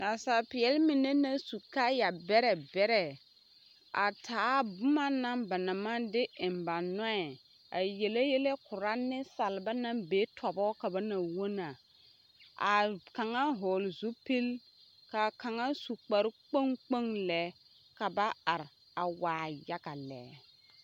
Nasaalpeɛl mine naŋ su kaaya bɛrɛ bɛrɛ a taa boma na ba naŋ maŋ de eŋ ba nɔɛ a yele yɛlɛ korɔ nemsalba naŋ be tɔbɔ ka ba na wonaa a kaŋa hɔɔl zupil a su kparre kpoŋ kpoŋ lɛ ka ka ba are a waa yaga lɛ.